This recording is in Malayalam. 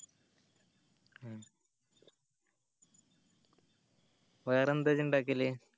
വേറെ എന്ത ഇജ്ജ് ഇണ്ടാക്കല്